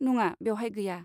नङा, बेवहाय गैया।